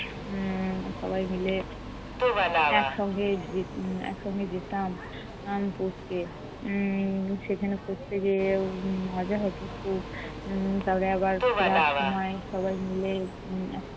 উম সবাই মিলে একসঙ্গে যে~ একসঙ্গে যেতাম আহ পড়তে। উম সেখানে পড়তে যেয়ে উম মজা হতো খুব। উম তারপরে আবার ফেরার সময় সবাই মিলে উম